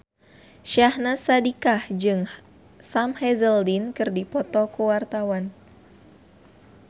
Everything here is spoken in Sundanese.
Syahnaz Sadiqah jeung Sam Hazeldine keur dipoto ku wartawan